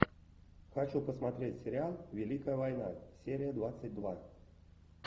хочу посмотреть сериал великая война серия двадцать два